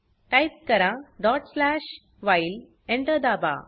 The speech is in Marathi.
टाइप करा व्हाईल Enter दाबा